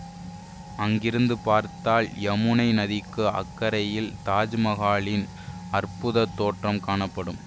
அங்கிருந்து பார்த்தால் யமுனை நதிக்கு அக்கரையில் தாஜ்மகாலின் அற்புதத் தோற்றம் காணப்படும்